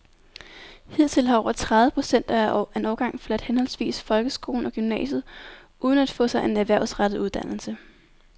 Hidtil har over tredive procent af en årgang forladt henholdsvis folkeskolen og gymnasiet uden at få sig en erhvervsrettet uddannelse.